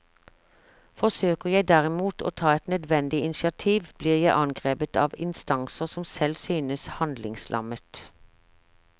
Forsøker jeg derimot å ta et nødvendig initiativ, blir jeg angrepet av instanser som selv synes handlingslammet.